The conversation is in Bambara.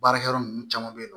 Baarakɛyɔrɔ ninnu caman bɛ yen nɔ